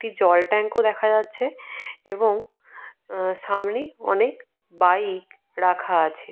একটি জল ট্যাংক ও দেখা যাচ্ছে এবং সামনে অনেক বাইক রাখা আছে।